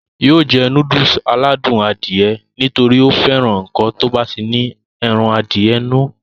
yóò jẹ núdùsì aládùn Adìẹ nítorí ó fẹ́ràn ǹkan tó bá ti ní ẹran Adìẹ nínú